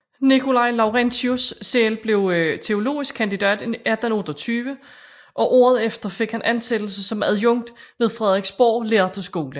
Nikolai Laurentius selv blev teologisk kandidat 1828 og året efter fik han ansættelse som adjunkt ved Frederiksborg lærde Skole